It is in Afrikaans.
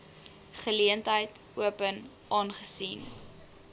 geleentheid open aangesien